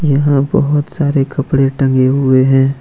यहां बहोत सारे कपड़े टंगे हुए हैं।